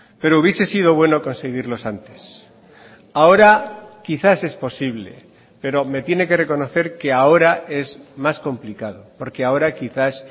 pero hubiese sido bueno conseguirlos antes ahora quizás es posible pero me tiene que reconocer que ahora es más complicado porque ahora quizás